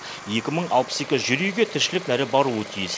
екі мың алпыс екі жер үйге тіршілік нәрі баруы тиіс